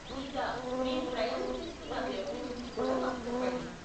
ఇంకా, మీరు ప్రయాణం చేస్తున్న వ్యవధి గురించి కూడా మాకు చెప్పండి.